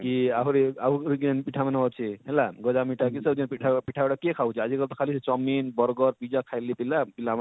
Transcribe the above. କି ଆହୁରି ଆହୁରି ଯେନ ପିଠା ମାନେ ଅଛେ ହେଲା ଗଜା ମିଠା କି ଯେନ ପିଠା ହଉ ପିଠା ଗୁଡା କିଏ ଖାଉଛେ ଆଜି କଲି ତ chaumin bargar pizza ଖାଇଲେ ପିଲା